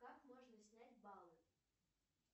как можно снять баллы